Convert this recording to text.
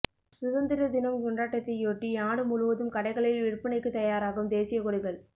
சுதந்திர தினம் கொண்டாட்டத்தையொட்டி நாடு முழுவதும் கடைகளில் விற்பனைக்கு தயாராகும் தேசிய கொடிகள்